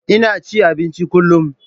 Ina cin abinci kullum.